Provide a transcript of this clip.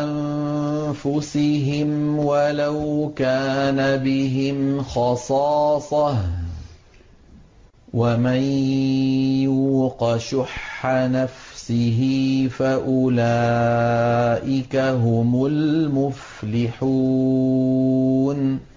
أَنفُسِهِمْ وَلَوْ كَانَ بِهِمْ خَصَاصَةٌ ۚ وَمَن يُوقَ شُحَّ نَفْسِهِ فَأُولَٰئِكَ هُمُ الْمُفْلِحُونَ